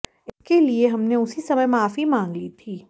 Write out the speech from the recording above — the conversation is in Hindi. इसके लिए हमने उसी समय माफी मांग ली थी